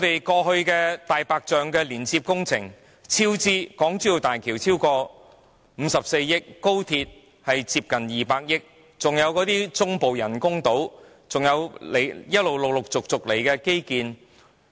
過去，"大白象"工程接連超支，例如港珠澳大橋超支54億元，廣深港高速鐵路超支近200億元，還有中部水域人工島和陸續開展的基建。